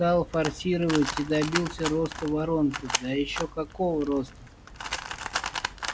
стал форсировать и добился роста воронки да ещё какого роста